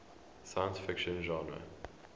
science fiction genre